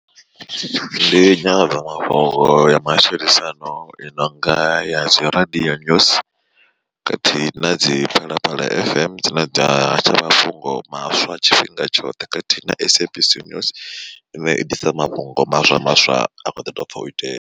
Ndi nyanḓadzamafhungo ya matshilisano i nonga ya dzi radio news khathihi na dzi Phalaphala F_M dzine dza hasha mafhungo maswa tshifhinga tshoṱhe khathihi na SABC News ine i ḓisa mafhungo maswa maswa a kho ḓi to bva u itea.